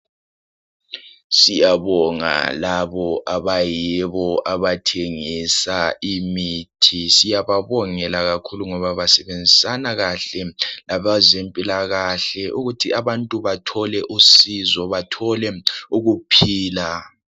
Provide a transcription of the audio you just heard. Siyabonga labo abayibo abathengisa imithi. Siyababongela kakhulu ngoba basebenzisana kahle labazempilakahle ukuthi abantu bathole usizo ,bathole ukuphila.